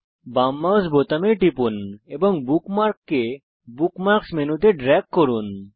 বাম মাউস বোতাম টিপুন এবং বুকমার্ককে বুকমার্কস মেনুতে ড্রেগ করুন